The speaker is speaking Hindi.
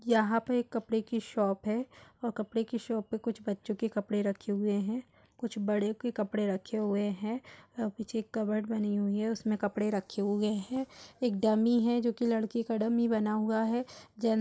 यहाँ पे एक कपड़े की शॉप है और कपड़े की शॉप में कुछ बच्चों के कपड़े रखे हुए हैं कुछ बड़ो के कपड़े रखे हुए है और पीछे कबर्ड बनी हुए है उसमें कपड़े रखे हुए हैएक डमी है जो की लड़के का डमी बना हुआ है जे --